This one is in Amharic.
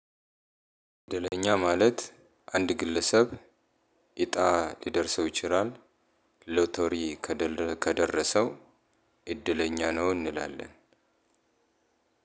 እድለኛ ማለት አንድ ግለሰብ እጣ ሊደርሰው ይችላል ሎተሪ ከደረሰው እድለኛ ነው እንላለን።